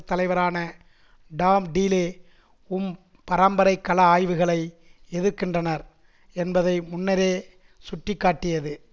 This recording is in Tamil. தலைவரான டாம் டீலே உம் பரம்பரை கல ஆய்வுகளை எதிர்க்கின்றனர் என்பதை முன்னரே சுட்டி காட்டியது